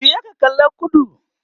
juya ka kalla kudu!